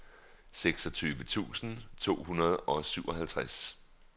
seksogtyve tusind to hundrede og syvoghalvtreds